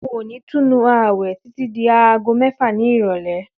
N ò ní túnu àwè̩ títí di aago mé̩fà ní ìrò̩lé̩